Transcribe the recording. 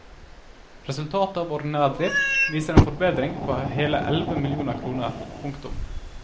Resultatet av ordinær drift viser en forbedring på hele elleve millioner kroner. punktum